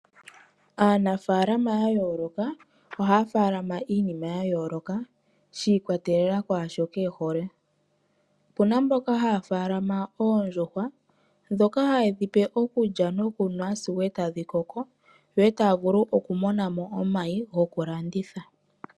Aanafaalama ya yooloka oha ya faalama iinima ya yooloka, shiikwatelela kwaashoka ehole. Opuna mboka ha ya faalama oondjuhwa dhoka haye dhipe okulya, nokunwa sigo ee tadhi koko, yo ee taya vulu okumona mo omayi goku landitha.